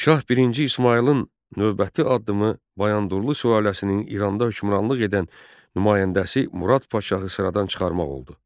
Şah birinci İsmayılın növbəti addımı Bayandurlu sülaləsinin İranda hökmranlıq edən nümayəndəsi Murad Paşahı sıradan çıxarmaq oldu.